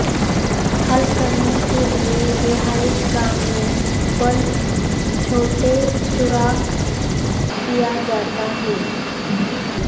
حل کرنے کے لئے رہائش گاہ میں بلب چھوٹے سوراخ کیا جاتا ہے